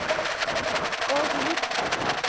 Og við öll.